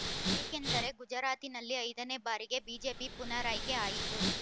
ಏಕೆಂದರೆ ಗುಜರಾತಿನಲ್ಲಿ ಐದನೇ ಬಾರಿಗೆ ಬಿಜೆಪಿ ಪುನರಾಯ್ಕೆ ಆಯಿತು